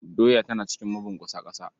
Doya tana cikin mabunƙusa ƙasa.